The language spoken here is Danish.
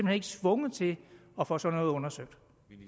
ikke tvunget til at få sådan noget undersøgt